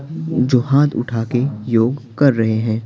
जो हाथ उठा के योग कर रहे हैं।